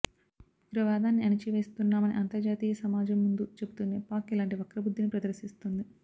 ఉగ్రవాదాన్ని అణచివేస్తున్నామని అంతర్జాతీయ సమాజం ముందు చెబుతూనే పాక్ ఇలాంటి వక్రబుద్ధిని ప్రదర్శిస్తోంది